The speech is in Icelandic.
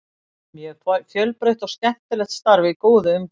Mjög fjölbreytt og skemmtilegt starf í góðu umhverfi.